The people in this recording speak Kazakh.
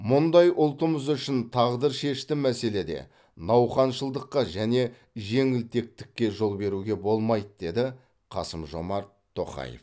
мұндай ұлтымыз үшін тағдыршешті мәселеде науқаншылдыққа және жеңілтектікке жол беруге болмайды деді қасым жомарт тоқаев